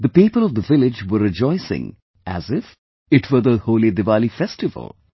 The people of the village were rejoicing as if it were the HoliDiwali festival